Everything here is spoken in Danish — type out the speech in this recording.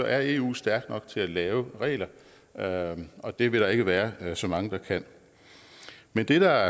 er eu stærkt nok til at lave regler og og det vil der ikke være så mange der kan men det der